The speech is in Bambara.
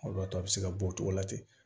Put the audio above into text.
O de b'a to a bɛ se ka bɔ o tɔgɔ la ten